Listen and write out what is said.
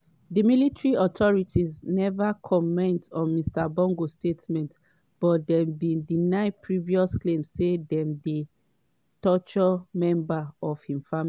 di military authorities neva comment on mr bongo statement but dem bin deny previous claims say dem dey torture members of im family.